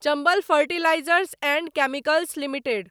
Chambal fertilisers and chemicals limited